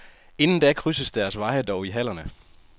Inden da krydses deres veje dog i hallerne.